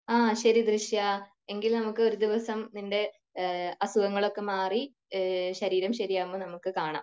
ആ ശരി ദൃശ്യഎങ്കിൽ നമുക്ക് ഒരു ദിവസം നിന്റെ അസുഖങ്ങൾ ഒക്കെ മാറി ശരീരം ശെരിയാകുമ്പോൾ നമുക് കാണാം